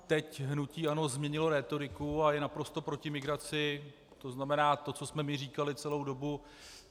Teď hnutí ANO změnilo rétoriku a je naprosto proti migraci, to znamená to, co jsme my říkali celou dobu.